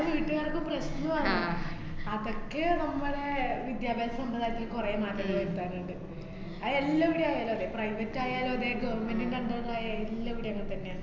വീട്ടുകാർക്ക് പ്രശ്നം ആണ് അതൊക്കെ നമ്മളെ വിദ്യാഭ്യാസ സമ്പ്രദായത്തില് കൊറേ മാറ്റങ്ങള് വരുത്താന്ണ്ട്. അത് എല്ലാവരും അങ്ങനെന്നെയാ. private ആയാലും അതേ government ന്‍റെ under ലായാലും എല്ലാവടേയും അങ്ങനെ തന്നെയാ.